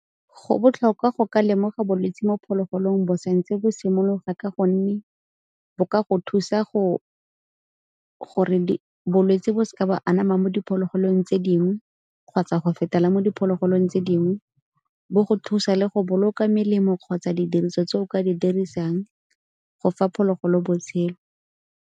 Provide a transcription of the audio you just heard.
Go botlhokwa go ka lemoga bolwetsi mo phologolong bo sa ntse tse bo simologa ka gonne bo ka go thusa gore bolwetse bo seke ba anama mo diphologolong tse dingwe kgotsa go fetela mo diphologolong tse dingwe, bo go thusa le go boloka melemo kgotsa didiriso tse o ka di dirisang go fa phologolo botshelo.